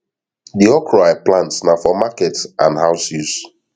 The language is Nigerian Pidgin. de okro i plant na for market and house use